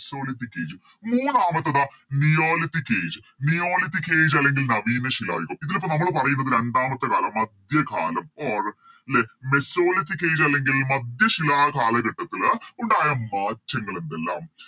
mesolithic age മൂന്നാമത്തേത് Neolithic age neolithic age അല്ലെങ്കിൽ നവീന ശിലായുഗം ഇതിലിപ്പോ നമ്മള് പറയുന്നത് രണ്ടാമത്തേ കാലം മധ്യകാലം Or ലെ mesolithic age അല്ലെങ്കില് മധ്യശിലാ കാലഘട്ടത്തില് ഉണ്ടായ മാറ്റങ്ങളെന്തെല്ലാം